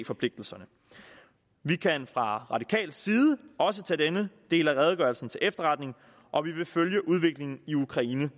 forpligtigelserne vi kan fra radikal side også tage denne del af redegørelsen til efterretning og vi vil følge udviklingen i ukraine